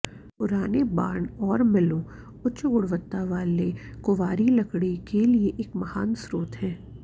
पुराने बार्न और मिलों उच्च गुणवत्ता वाले कुंवारी लकड़ी के लिए एक महान स्रोत हैं